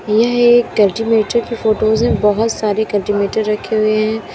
यह एक कल्टीवेटर की फोटोज है बहोत सारे कल्टीवेटर रखे हुए हैं।